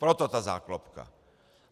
Proto ta záklopka.